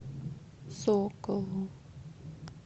соколу